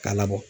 K'a labɔ